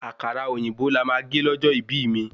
Àkàrà òyìnbó lama gé lójó ibí mi